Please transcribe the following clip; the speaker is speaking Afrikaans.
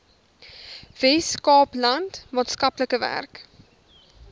weskaapland maatskaplike werk